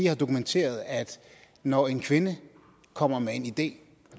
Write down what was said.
har dokumenteret at når en kvinde kommer med en idé